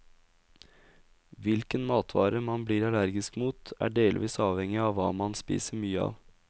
Hvilken matvare man blir allergisk mot, er delvis avhengig av hva man spiser mye av.